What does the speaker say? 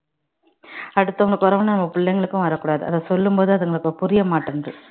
அடுத்தவங்களுக்கு பிறகு நம்ம பிள்ளைகளுக்கும் வரக்கூடாது அதை சொல்லும்போது அதுங்களுக்கு புரிய மாட்டேங்குது